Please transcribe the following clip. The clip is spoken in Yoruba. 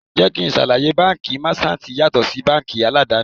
Jẹ́ kí n ṣàlàyé, báńkì Máṣántìì yàtọ̀ sí báńkì aládàni.